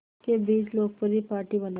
के बीच लोकप्रिय पार्टी बनाया